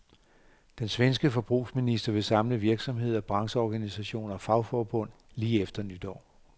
Den svenske forbrugsminister vil samle virksomheder, brancheorganisationer og fagforbund lige efter nytår.